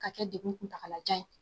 Ka kɛ degun kuntagalajan ye.